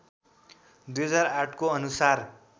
२००८ को अनुसार